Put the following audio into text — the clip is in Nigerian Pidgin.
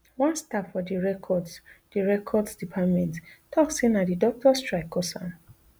one staff for di records di records department tok say na di doctor strike cause am